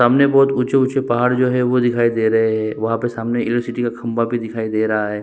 सामने बहोत ऊँचे-ऊँचे पहाड़ जो है वो दिखाई दे रहे है वहाँ पे सामने एरोसिटी का खम्बा भी दिखाई दे रहा है ।